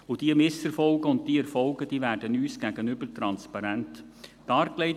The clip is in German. Und diese Misserfolge und diese Erfolge werden uns gegenüber transparent dargelegt.